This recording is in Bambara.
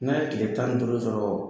N'a ye tile tan ni duuru sɔrɔ